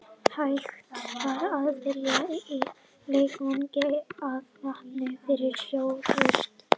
Hægt var að fylla leikvanginn af vatni fyrir sjóorrustur.